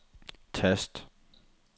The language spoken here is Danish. tast